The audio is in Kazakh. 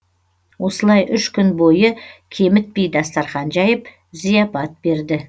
осылай үш күн бойы кемітпей дастарқан жайып зияпат берді